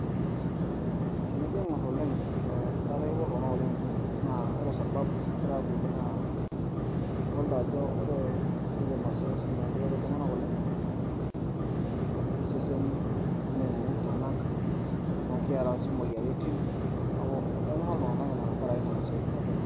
tenijo aing'orr oleng etaa kepuo iltung'anak iljimi naa ore sababu nagira aapuoyie naa idolita ajo ore esiai e masoesi naakeret iltung'anak oleng aitobirr iseseni neneneng'u iltung'anak naa kiaraa sii imoyiaritin neeku etonyorra iltung'anak ina tenkaraki isiatin naijo nena.